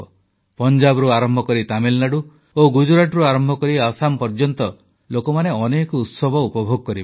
ପଞ୍ଜାବରୁ ଆରମ୍ଭକରି ତାମିଲନାଡୁ ଓ ଗୁଜରାଟରୁ ଆରମ୍ଭକରି ଆସାମ ପର୍ଯ୍ୟନ୍ତ ଲୋକମାନେ ଅନେକ ଉତ୍ସବ ଉପଭୋଗ କରିବେ